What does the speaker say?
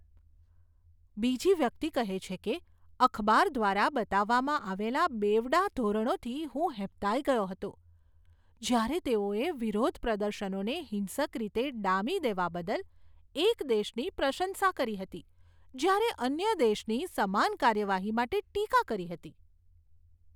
બીજી વ્યક્તિ કહે છે કે, અખબાર દ્વારા બતાવવામાં આવેલા બેવડા ધોરણોથી હું હેબતાઈ ગયો હતો, જ્યારે તેઓએ વિરોધપ્રદર્શનોને હિંસક રીતે ડામી દેવા બદલ એક દેશની પ્રશંસા કરી હતી જ્યારે અન્ય દેશની સમાન કાર્યવાહી માટે ટીકા કરી હતી